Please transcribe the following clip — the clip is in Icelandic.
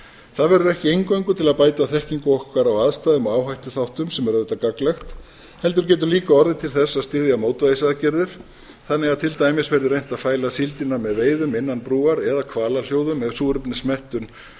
það verður ekki eingöngu til að bæta þekkingu okkar á aðstæðum og áhættuþáttum sem er auðvitað gagnlegt heldur getur líka orðið til þess að styðja mótvægisaðgerðir þannig að til dæmis verði reynt að fæla síldina með veiðum innan brúar eða hvalahljóðum ef súrefnismettun